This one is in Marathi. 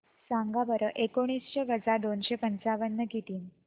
सांगा बरं एकोणीसशे वजा दोनशे पंचावन्न किती